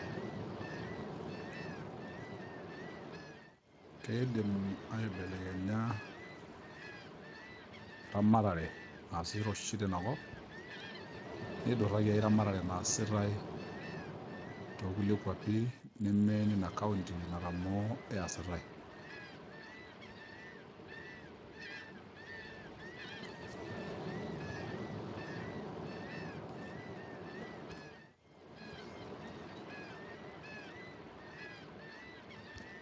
Keidim aibelekenya eramatare naasita oshi tinakop, nidurraki ai ramatare naasitai tokulie kwapi neme nina county natamoo eesitai.